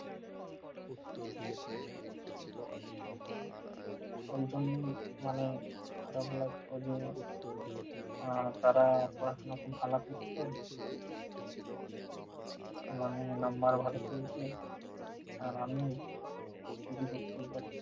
এরজন্যেই মানে খারাপ লাগছে যে আহ তারা পড়াশোনা খুব ভালো করতেন। মানে number ভালো পেয়েছেন। আর আমি এই যে দেখতেই পাচ্ছি